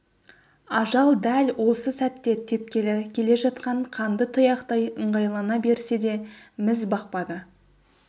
ажал дәл осы сәтте тепкелі келе жатқан қанды тұяқтай ыңғайлана берсе де міз бақпады